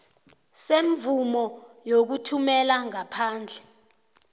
semvumo yokuthumela ngaphandle